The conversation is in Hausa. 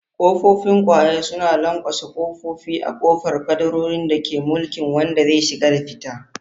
Kofofin kwaye suna lanƙwasa ƙofofi a ƙofar kadarorin da ke mulkin wanda zai shiga da fita.